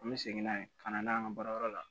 An bɛ segin n'a ye ka na n'a ye an ka baarayɔrɔ la